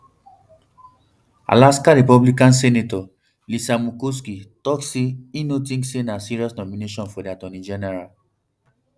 alaska republican senator lisa murkowski tok say i no tink say um na serious nomination for di attorney general um